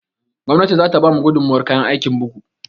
Gwamnati za ta ba mu gudummuwar kayan aikin bugu